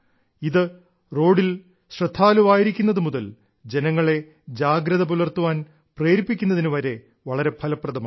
ഇത് റോഡിൽ ശ്രദ്ധാലുവായിരിക്കുന്നതു മുതൽ ജനങ്ങളെ ജാഗ്രത പുലർത്താൻ അവരെ പ്രേരിപ്പിക്കുന്നതിന് വളരെ ഫലപ്രദമാണ്